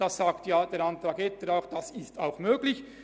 Das ist auch möglich.